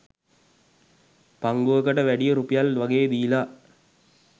පංගුවකට වැඩිය රුපියල් වගේ දීලා